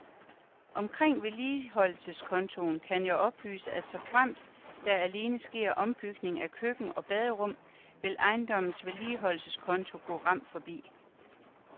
Omkring vedligeholdelseskontoen kan jeg oplyse, at såfremt der alene sker ombygning af køkken og baderum, vil ejendommens vedligeholdelseskonto gå ram forbi.